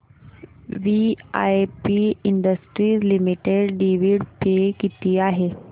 VIP Industries Limited dividend pay किती आहे